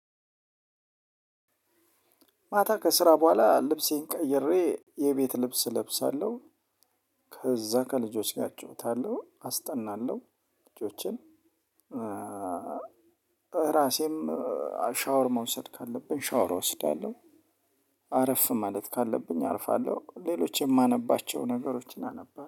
ማታ ከስራ በኋላ ልብሴን ቀይሬ የቤት ልብስ እለብሳለሁ። ከዛ ከልጆች ጋር እጮኸታለሁ አስጠናለሁ። ልጆችን። እራሴም ሻወር መውሰድ ካለብኝ ሻወር እወስዳለው። አረፍ ማለት ካለብኝ አርፋለሁ። ሌሎች የማነባቸው ነገሮችን አነባ